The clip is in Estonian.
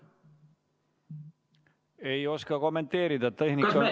Ei oska kommenteerida.